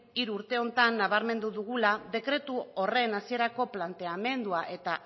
hiru urte hauetan nabarmendu dugula dekretu horren hasierako planteamendua eta